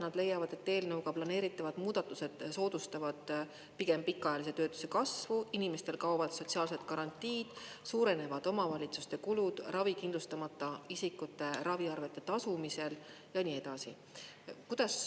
Nad leiavad, et eelnõuga planeeritavad muudatused soodustavad pigem pikaajalise töötuse kasvu, inimestel kaovad sotsiaalsed garantiid, suurenevad omavalitsuste kulud ravikindlustamata isikute raviarvete tasumisel ja nii edasi.